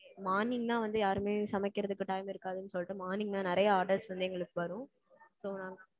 morning தான் வந்து யாருமே சமைக்குறதுக்கு time இருக்காதுன்னு சொல்லிட்டு morning தான் நெறைய orders வந்து எங்களுக்கு வரும். so நாங்க